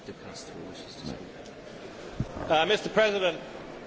Mr President, I would speak in favour of this motion.